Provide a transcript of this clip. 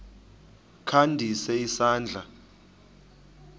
kha ndise isandla